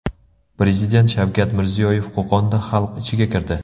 Prezident Shavkat Mirziyoyev Qo‘qonda xalq ichiga kirdi.